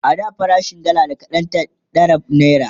a da farashin dalla da kaɗan ta ɗara naira